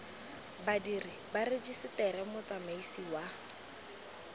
badiri ba rejiseteri motsamaisi wa